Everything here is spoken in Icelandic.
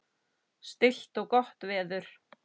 Stillt og gott veður.